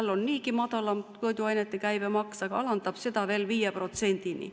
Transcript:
Tal on niigi madalam toiduainete käibemaks, aga ta alandab seda veelgi, 5%‑ni.